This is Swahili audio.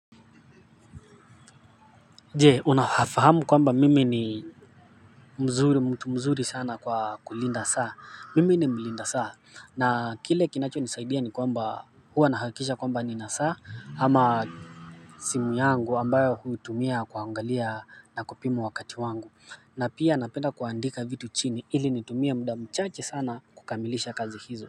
Je unafahamu kwamba mimi ni mzuri mtu mzuri sana kwa kulinda saa mimi ni mlinda saa na kile kinachonisaidia ni kwamba huwa nahakikisha kwamba nina saa ama simu yangu ambayo huitumia kuangalia na kupima wakati wangu na pia napenda kuandika vitu chini ili nitumie muda mchache sana kukamilisha kazi hizo.